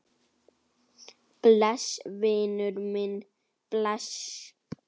Bless, vinur minn, bless.